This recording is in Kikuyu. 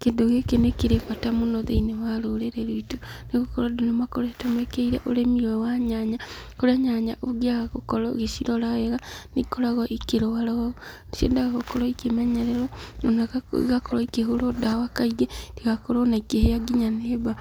Kĩndũ gĩkĩ nĩ kĩrĩ bata mũno thĩinĩ wa rũrĩrĩ rwitũ, nĩgũkorwo andũ nĩ makoretwo mekĩrĩire ũrĩmi ũyũ wa nyanya, kũrĩa nyanya ũngĩaga gũkorwo ũgĩcirora wega, nĩ ikoragwo ikĩrwara ũũ, nĩciendaga gũkorwo ikĩmenyererwo, ona igakorwo ikĩhũrwo ndawa kaingĩ, itigakorwo ona ikĩhĩa nginya nĩ mbaa.